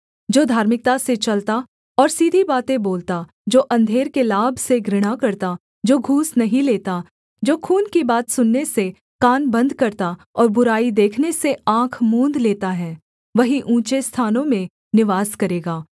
जो धार्मिकता से चलता और सीधी बातें बोलता जो अंधेर के लाभ से घृणा करता जो घूस नहीं लेता जो खून की बात सुनने से कान बन्द करता और बुराई देखने से आँख मूँद लेता है वही ऊँचे स्थानों में निवास करेगा